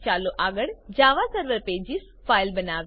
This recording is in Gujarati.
ચાલો આગળ જાવાસર્વર પેજીસ ફાઈલ બનાવીએ